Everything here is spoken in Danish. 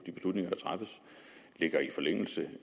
at ligger i forlængelse af